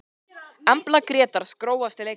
Embla Grétars Grófasti leikmaðurinn?